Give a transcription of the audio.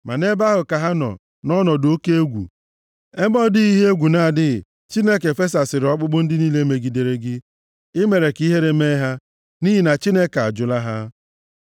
Ma nʼebe ahụ ka ha nọ, nʼọnọdụ oke egwu, ebe ọ dịghị ihe egwu na-adịghị. Chineke fesasịrị ọkpụkpụ ndị niile megidere gị; i mere ka ihere mee ha, nʼihi na Chineke ajụla ha.